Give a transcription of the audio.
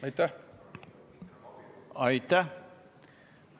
Aitäh!